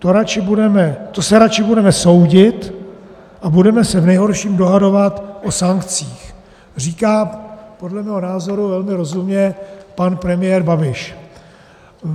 To se radši budeme soudit a budeme se v nejhorším dohadovat o sankcích," říká podle mého názoru velmi rozumně pan premiér Babiš.